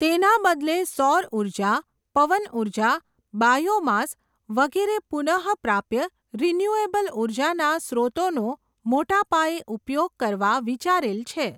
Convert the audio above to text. તેના બદલે સૌર ઊર્જા, પવન ઊર્જા, બાયોમાસ વગેરે પુનઃ પ્રાપ્ય રીન્યુએબલ ઊર્જાના સ્ત્રોતોનો, મોટાપાયે ઉપયોગ કરવા વિચારેલ છે.